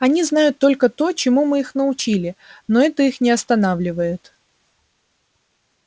они знают только то чему мы их научили но это их не останавливает